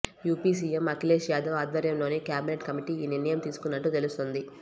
UP CM Akhilesh Yadav ఆధ్వర్యంలోని cabinet committee ఈ నిర్ణయం తీసుకున్నట్లు తెలుస్తోంది